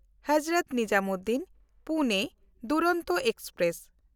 Hazrat ᱱᱤᱡᱟᱢᱩᱫᱽᱫᱤᱱ–ᱯᱩᱱᱮ Duronto express